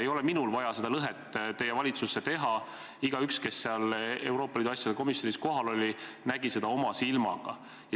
Ei ole vaja minul seda lõhet teie valitsusse teha – igaüks, kes Euroopa Liidu asjade komisjonis kohal oli, nägi seda oma silmaga.